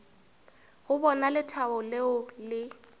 go bona lethabo leo le